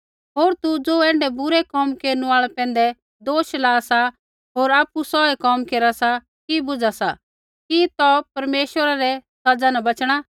होर तू ज़ो ऐण्ढै बुरै कोम केरनु आल़ै पैंधै दोष ला सा होर आपु सोऐ कोम केरा सा कि बुझा सा कि तौ परमेश्वरै रै सज़ा न बचणा